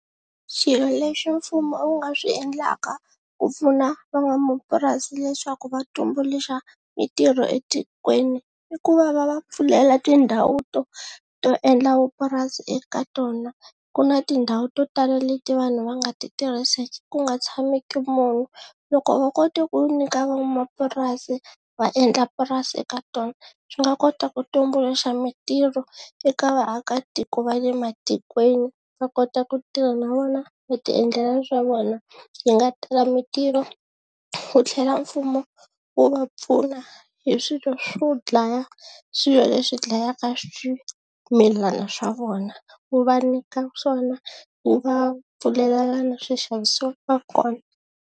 Swilo leswi mfumo wu nga swi endlaka ku pfuna van'wamapurasi leswaku va tumbuluxa mintirho etikweni i ku va va va pfulela tindhawu to to endla vupurasi eka tona ku na tindhawu to tala leti vanhu va nga ti tirhiseki ku nga tshamiki munhu loko vo kota ku nyika van'wamapurasi va endla purasi eka tona swi nga kota ku tumbuluxa mintirho eka vaakatiko va le matikweni va kota ku tirha na vona va ti endlela swa vona, hi nga tala mintirho wu tlhela mfumo wu va pfuna hi swilo swo dlaya swilo leswi dlayaka swimilana swa vona, wu va nyika swona wu va pfulelela lana swi xavisiwaka kona.